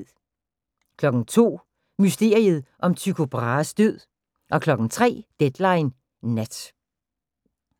02:00: Mysteriet om Tycho Brahes død 03:00: Deadline Nat